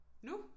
Nu